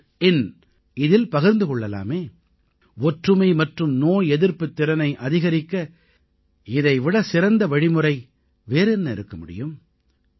inஇல் பகிர்ந்து கொள்ளலாமே ஒற்றுமை மற்றும் நோய் எதிர்ப்புத் திறனை அதிகரிக்க இதைவிடச் சிறந்த வழிமுறை வேறு என்ன இருக்க முடியும்